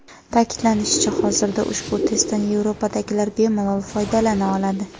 Ta’kidlanishicha, hozirda ushbu testdan Yevropadagilar bemalol foydalana oladi.